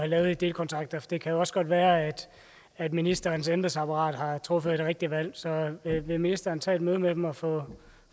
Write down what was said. lavet delkontrakter det kan jo også være at at ministerens embedsapparat har truffet et rigtigt valg så vil ministeren tage et møde med dem og få